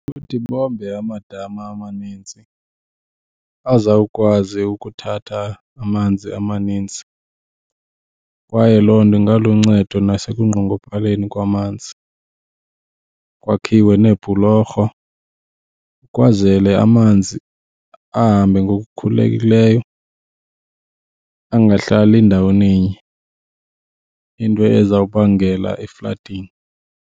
Kuthi bombe amadama amaninzi azawukwazi ukuthatha amanzi amaninzi kwaye loo nto ingaluncedo nasekunqongophaleni kwamanzi, kwakhiwe iibhuloro kwazele amanzi ahambe ngokukhululekileyo angahlali ndawoninye, into ezawubangela i-flooding.